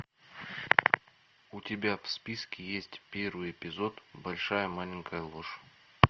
у тебя в списке есть первый эпизод большая маленькая ложь